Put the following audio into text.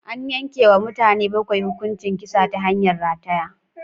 An yanke wa mutane bakwai hukuncin kisa ta hanyar rataya